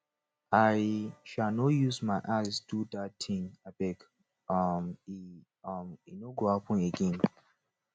i um no use my eye do you dat tin abeg um e um no go happen again